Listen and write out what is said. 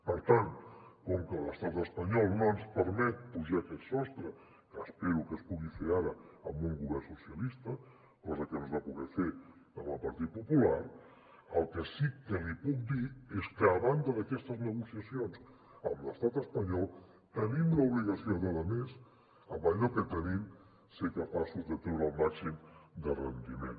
per tant com que l’estat espanyol no ens permet pujar aquest sostre que espero que es pugui fer ara amb un govern socialista cosa que no es va poder fer amb el partit popular el que sí que li puc dir és que a banda d’aquestes negociacions amb l’estat espanyol tenim l’obligació de a més amb allò que tenim ser capaços de treure li’n el màxim rendiment